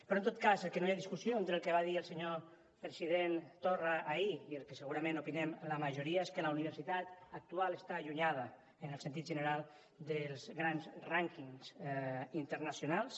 però en tot cas sobre el que no hi ha discussió entre el que va dir el senyor president torra ahir i el que segurament opinem la majoria és que la universitat actual està allunyada en el sentit general dels grans rànquings internacionals